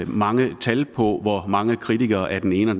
mange tal på hvor mange kritikere af den ene